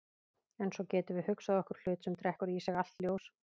En svo getum við hugsað okkur hlut sem drekkur í sig allt ljós.